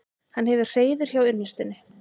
Hann hefur hreiður hjá unnustunni.